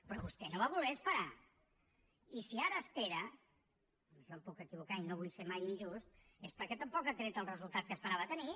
però vostè no va voler esperar i si ara espera en això em puc equivocar i no vull ser mai injust és perquè tampoc ha tret el resultat que esperava tenir